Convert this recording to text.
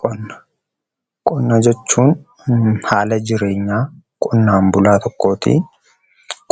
Qonna: Qonna jechuun haala jireenyaa qonnaan bulaa tokkooti.